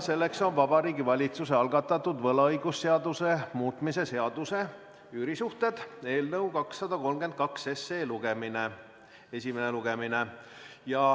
Selleks on Vabariigi Valitsuse algatatud võlaõigusseaduse muutmise seaduse eelnõu 232 esimene lugemine.